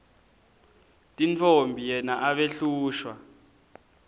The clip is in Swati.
tintfombi yena abehlushwa